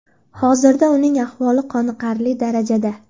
Hozirda uning ahvoli qoniqarli darajada.